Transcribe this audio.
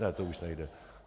Ne, to už nejde.